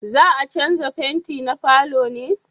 za a canja fenti na falo ne?